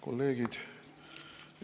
Kolleegid!